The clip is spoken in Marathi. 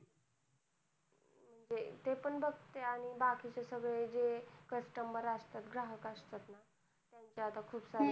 म्हणजे ते पण बघते आणि बाकीचे सगळे जे customer असतात ग्राहक असतात ना त्यांच्या आता खूप साऱ्या